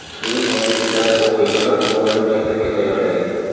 Keyin yangiliklarni o‘qiydi va o‘g‘lini maktabga tayyorlaydi.